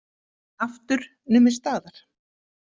Aftur numið staðar.